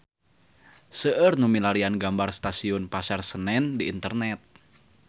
Seueur nu milarian gambar Stasiun Pasar Senen di internet